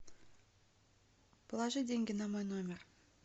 положи деньги на мой номер